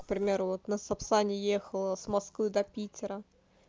к примеру на сапсане ехала с москвы до питера